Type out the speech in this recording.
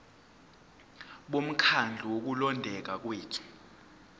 bomkhandlu wokulondeka kwethu